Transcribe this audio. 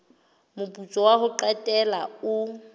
moputso wa ho qetela o